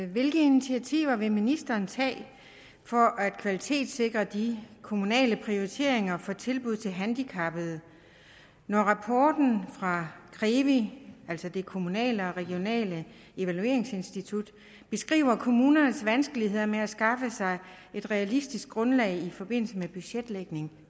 hvilke initiativer vil ministeren tage for at kvalitetssikre de kommunale prioriteringer for tilbud til handicappede når rapporten fra krevi altså det kommunale og regionale evalueringsinstitut beskriver kommuners vanskeligheder med at skaffe sig et realistisk grundlag i forbindelse med budgetlægning